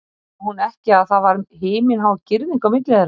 Sá hún ekki að það var himinhá girðing á milli þeirra?